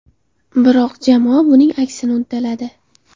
Biroq jamoa buning aksini uddaladi.